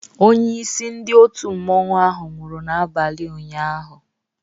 Onye isi ndị otu mmanwu ahụ nwụrụ n'abalị ụnyaahụ